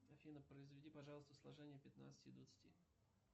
афина произведи пожалуйста сложение пятнадцати и двадцати